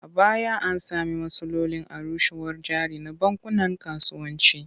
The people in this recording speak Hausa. A baya an sami matsalolin arushewar jari na bankunan kasuwanci.